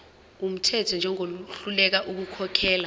wumthetho njengohluleka ukukhokhela